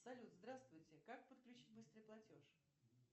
салют здравствуйте как подключить быстрый платеж